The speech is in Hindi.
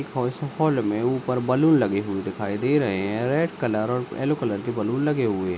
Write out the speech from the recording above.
में ऊपर बलून लगे हुए दिखाई दे रहे हैं रेड कलर और येलो कलर के बलून लगे हुए हैं।